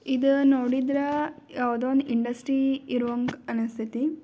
ಇದ ನೋಡಿದ್ರ ಯಾವದೋ ಇಂಡಸ್ಟ್ರಿ ಇರೋ ಹಂಗ ಅನಿಸ್ತೇತಿ.